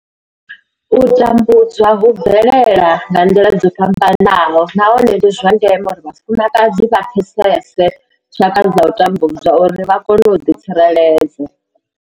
U tambudzwa hu bvelela nga nḓila dzo fhambanaho nahone ndi zwa ndeme uri vhafumakadzi vha pfesese tshaka dza u tambudzwa uri vha kone u ḓi tsireledza.